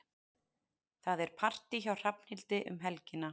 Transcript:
Það er partí hjá Hrafnhildi um helgina.